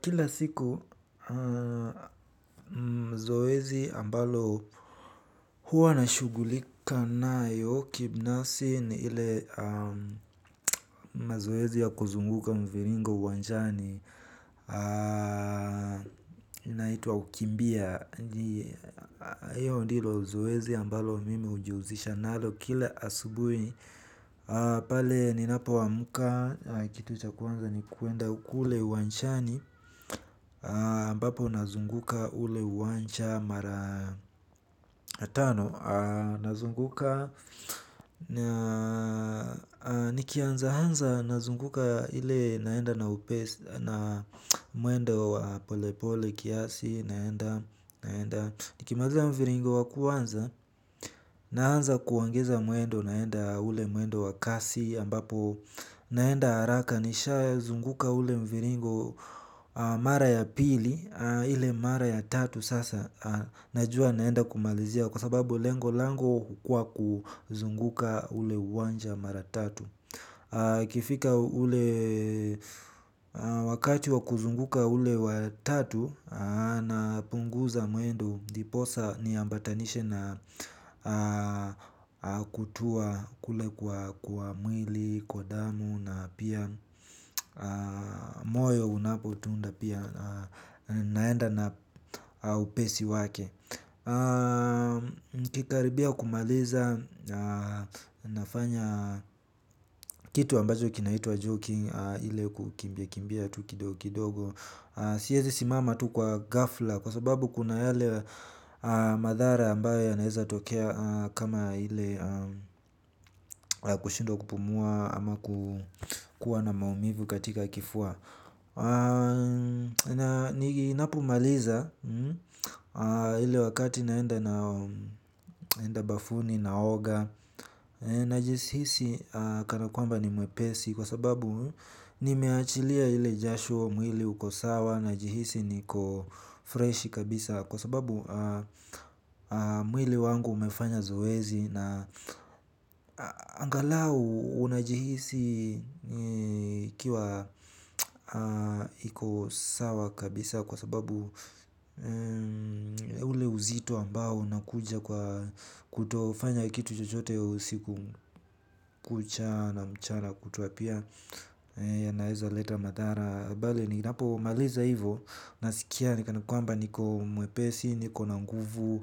Kila siku mzoezi ambalo huwa nashugulika nayo kibinasi ni ile mazoezi ya kuzunguka mviringo uwanjani. Naituwa ukimbia hiyo ndilo zoezi ambalo mimi ujiuzisha nalo kila asubui pale ninapo wamuka kitu chakuanza ni kuenda kule uanjani ambapo unazunguka ule uwanja mara tano. Nikianza hanza nazunguka ile naenda na muendo pole pole kiasi. Naenda naenda. Nikimaliza mviringo wakuanza nahanza kuongeza muendo naenda ule muendo wakasi ambapo naenda haraka nisha zunguka ule mviringo mara ya pili. Ile mara ya tatu sasa. Najua naenda kumalizia. Kwa sababu lengo lango kwa kuzunguka ule wanja mara tatu. Kifika ule wakati wa kuzunguka ule watatu. Na punguza muendo ndiposa niambatanishi na kutua kule kwa mwili. Kwa damu na pia moyo unapo tuunda pia. Naenda na upesi wake. Kikaribia kumaliza. Nafanya kitu ambajo kinahitwa joking. Ile kukimbia kumbia tu kidogo. Siyezi simama tu kwa gafla. Kwa sababu kuna yale madhara ambayo ya naeza tokea. Kama ile kushindwa kupumua ama kukuwa na maumivu katika kifua. Ni napo maliza ili wakati naenda na bafuni na oga. Najihisi kanakuamba ni mwepesi kwa sababu nimeachilia ilie jasho mwili ukosawa. Najihisi niko fresh kabisa kwa sababu mwili wangu umefanya zoezi. Na angalau unajihisi ikiwa iko sawa kabisa kwa sababu ule uzitu ambao unakuja kwa kutofanya kitu chojote usiku kucha na mchana kutuapia ya naeza leta madara bali ni napo maliza hivo nasikia ni kanakuamba niko mwepesi niko nanguvu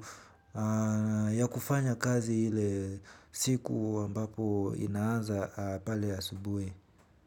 ya kufanya kazi hile siku wambapo inaanza pale ya asubuhi.